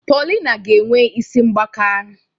Paulina ga-enwe isi mgbaka.